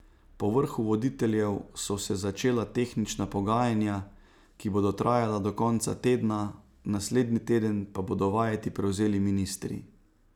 Po vrhu voditeljev so se začela tehnična pogajanja, ki bodo trajala do konca tedna, naslednji teden pa bodo vajeti prevzeli ministri.